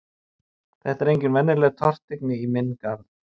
Þetta var engin venjuleg tortryggni í minn garð.